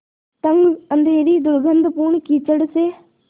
तंग अँधेरी दुर्गन्धपूर्ण कीचड़ से